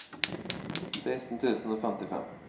seksten tusen og femtifem